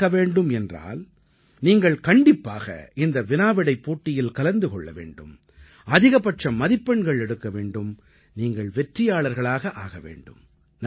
இது நடக்க வேண்டும் என்றால் நீங்கள் கண்டிப்பாக இந்த வினாவிடைப் போட்டியில் கலந்து கொள்ள வேண்டும் அதிகபட்ச மதிப்பெண்கள் எடுக்க வேண்டும் நீங்கள் வெற்றியாளர்களாக ஆக வேண்டும்